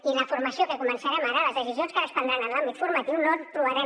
i la formació que començarem les decisions que ara es prendran en l’àmbit formatiu no trobarem